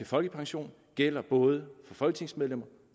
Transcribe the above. folkepension gælder både for folketingsmedlemmer